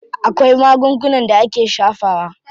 Akwai magungunan da ake shafawa.